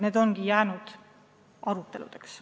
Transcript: Need ongi jäänud aruteludeks.